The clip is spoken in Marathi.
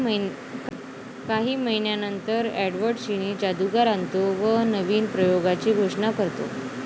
काही महिन्यांनंतर एडवर्ड चिनी जादूगार आणतो व नवीन प्रयोगाची घोषणा करतो.